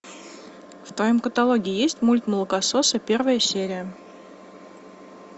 в твоем каталоге есть мульт молокососы первая серия